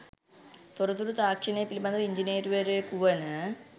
තොරතුරු තාක්‍ෂණය පිළිබඳ ඉංජිනේරුවරයෙකු වන